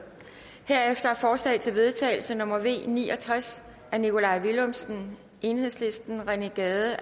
herefter er forslag til vedtagelse nummer v ni og tres af nikolaj villumsen rené gade